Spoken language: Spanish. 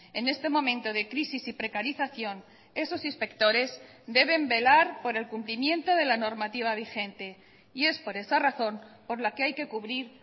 en este momento de crisis y precarización esos inspectores deben velar por el cumplimiento de la normativa vigente y es por esa razón por la que hay que cubrir